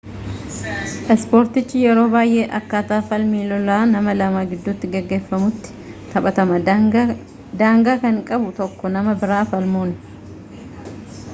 ispoortiichi yeroo baayyee akkaataa falmii lolaa nama lama giddutti gaggeffamutti taphatama daangaa kan qabu tokko nama biraa falmuun